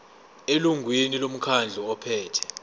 elungwini lomkhandlu ophethe